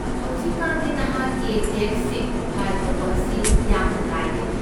ꯍꯧꯖꯤꯛꯀꯥꯟꯗꯤ ꯅꯍꯥꯛꯀꯤ ꯇꯦꯛꯁꯁꯤꯡ ꯐꯥꯏꯜ ꯇꯧꯕ ꯑꯁꯤ ꯌꯥꯝꯅ ꯂꯥꯏꯔꯦ꯫